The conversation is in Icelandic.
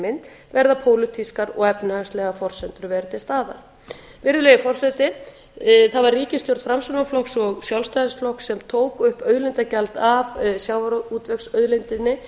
mynd verða pólitískar og efnahagslegar forsendur að vera til staðar virðulegi forseti það var ríkisstjórn framsóknarflokks og sjálfstæðisflokks sem tók upp auðlindagjald af sjávarútvegsauðlindinni